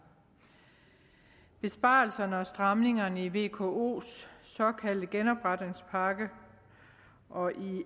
besparelserne og stramningerne i vko’s såkaldte genopretningspakke og i